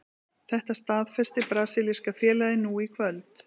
Þetta staðfesti brasilíska félagið nú í kvöld.